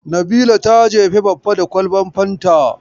Nabila ta jefe Baffa da kwalban fanta.